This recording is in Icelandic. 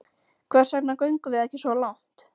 Hvers vegna göngum við ekki svo langt?